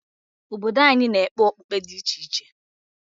Obodo anyị na-ekpe okpukpe dị iche iche.